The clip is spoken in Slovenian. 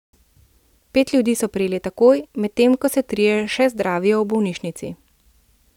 Pet ljudi so prijeli takoj, medtem ko se trije še zdravijo v bolnišnici.